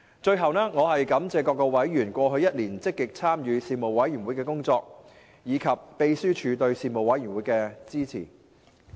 最後，我感謝各委員過去一年積極參與事務委員會的工作，以及秘書處對事務委員會的支援。